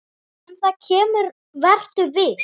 En það kemur, vertu viss.